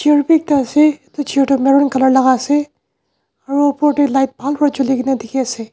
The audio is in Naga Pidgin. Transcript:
chair bi ekta ase edu chair tu Maron colour laka ase aro opor tae light bhal pa chulikaena dikhiase.